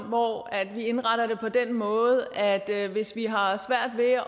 hvor vi indretter det på den måde at at hvis vi har svært ved at